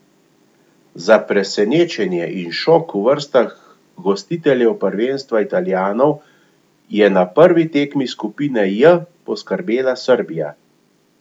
Za presenečenje in šok v vrstah gostiteljev prvenstva Italijanov je na prvi tekmi skupine J poskrbela Srbija.